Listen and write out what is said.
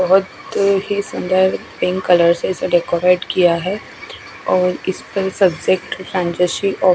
बोहोत ही सुन्दर पिंक कलर से इसे डेकोरेट किया है और इस्पे सब्जेक्ट --